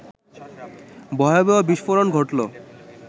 ভয়াবহ বিস্ফোরণ ঘটল